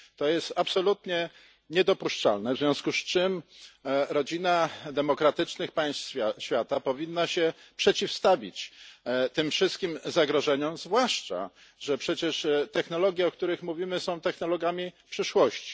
To jest absolutnie niedopuszczalne, w związku z czym rodzina demokratycznych państw świata powinna się przeciwstawić tym wszystkim zagrożeniom zwłaszcza, że przecież technologie, o których mówimy, są technologiami przyszłości.